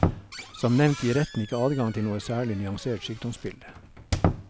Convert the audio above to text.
Som nevnt gir retten ikke adgang til noe særlig nyansert sykdomsbilde.